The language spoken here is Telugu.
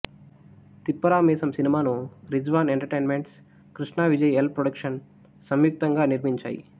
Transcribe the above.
తిప్పారా మీసం సినిమాను Rizwan entertainment Krishna Vijay L productions సంయుక్తంగా నిర్మించాయి